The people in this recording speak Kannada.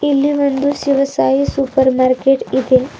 ಇಲ್ಲಿ ಒಂದು ಶಿವಸಾಯಿ ಸೂಪರ್ ಮಾರ್ಕೆಟ್ ಇದೆ.